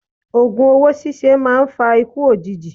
Ògùn owó síse a maa fa ikú òjijì